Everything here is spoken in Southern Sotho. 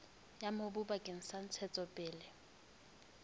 ya mobu bakeng sa ntshetsopele